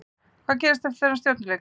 Hvað gerðist eftir þennan Stjörnuleik?